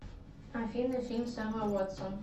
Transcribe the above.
афина фильм с эммой уотсон